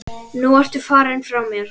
Nú ertu farinn frá mér.